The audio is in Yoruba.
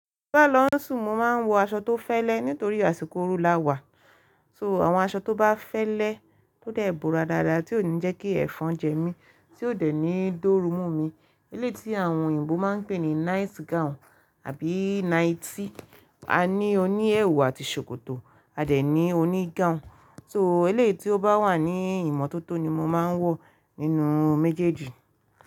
Bá lọ sùn, mo máa ń wọ aṣọ tó fẹ́lẹ́ nítorí àsìkò ooru lá wà. So àwọn aṣọ tó bá fẹ́lẹ́ tọ dẹ̀ bóra dáadáa tí ó ní jẹ́kí ẹfọn jẹ mí tí ó dẹ̀ ní dorú mọ́ mi. Elé tí àwọn òyìnbó máa ń pè ní night gown àbí nighty. A ní oní ẹwù àti ṣòkòtò a dẹ̀ ní oní gown. So elé tí ó bá wà ní ìmọ́tótó ni mo máa ń wọ nínú méjèèjì.